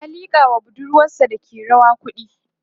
ƴan a liƙa was budurwasa Dake rawa kuɗi